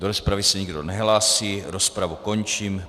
Do rozpravy se nikdo nehlásí, rozpravu končím.